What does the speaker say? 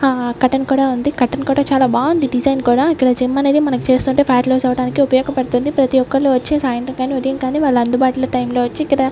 ఆ కర్టెన్ కూడా ఉంది కర్టెన్ కూడా చాలా బాగుంది డిసైన్ కూడా ఇక్కడ జిమ్ అనేది మనకు చేస్తుంటే ఫ్యాట్ లాస్ అవడానికి ఉపయోగపడుతుంది ప్రతి ఒక్కళ్ళు వచ్చి సాయంత్రం గాని ఉదయం గాని వాళ్ల అందుబాటు టైం లో వచ్చి ఇక్కడ --